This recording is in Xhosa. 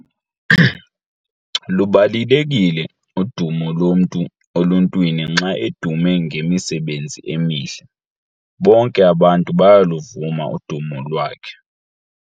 Lubalulekile udumo lomntu oluntwini xa edume ngemisebenzi emihle. Bonke abantu bayaluvuma udumo lwakhe.